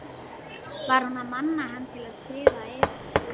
Var hún að mana hann til að klifra yfir hana?